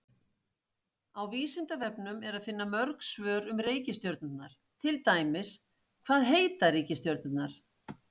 Á Vísindavefnum er að finna mörg svör um reikistjörnurnar, til dæmis: Hvað heita reikistjörnurnar?